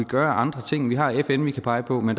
gøre andre ting vi har fn vi kan pege på men